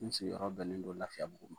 N sigi yɔrɔ bɛnnen don lafiyabugu ma.